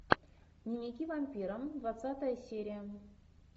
дневники вампира двадцатая серия